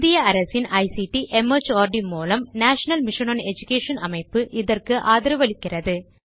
இந்திய அரசாங்கத்தின் ICT mart மூலம் நேஷனல் மிஷன் ஒன் எடுகேஷன் அமைப்பு இதற்கு ஆதரவளிக்கிறது